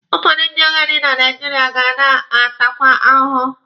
Ụfọdụ ndị agadi na Naijiria ga na-atakwa ahụhụ.